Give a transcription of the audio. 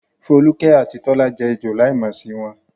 Foluke àti Tola jẹ́ ejò láìmọ̀ sí wọn.